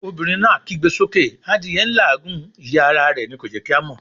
Obìnrin náà kígbe sókè adìẹ n làágùn, ìyẹ́ ara rẹ̀ ni ò jẹ́ kí a mọ̀'